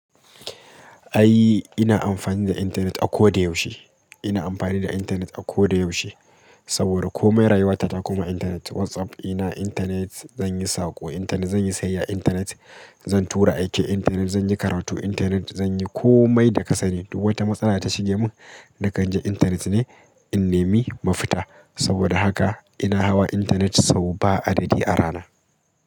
Ai ina amfani da intanet a koda yaushe. Ina amfani da intanet a koda yaushe. Saboda komai rayuwata ta koma intanet. WhatsApp dina, intanet. Zan yi saƙo, intanet. Zan yi sayayya, intanet. Zan tura aiki, intanet. Zan yi karatu, intanet. Zan yi komai da kasani. Duk wata matsala ta shige mun, na kan je intanet ne in nemi mafita. Saboda haka ina hawa intanet sau ba adadi a rana.